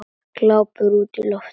Glápir útí loftið.